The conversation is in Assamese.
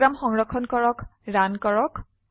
প্ৰোগ্ৰাম সংৰক্ষণ কৰক ৰান কৰক